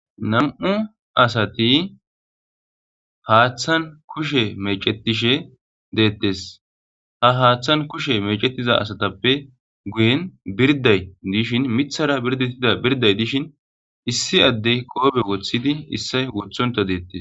Nam'u asati haathan kushe meecetishe deetees. Ha haathan kushe meecetiza asatappe guyen birday dishin miththara birdetida birday dishin issi adde qoobe woththidi issoy wothonta deetees.